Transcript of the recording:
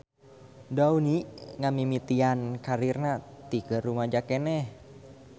Downey ngamimitian karirna ti keur rumaja keneh.